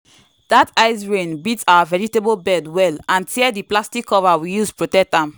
dat ice rain beat our vegetable bed well and tear the plastic cover we use protect am.